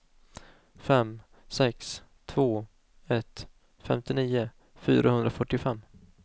fem sex två ett femtionio fyrahundrafyrtiofem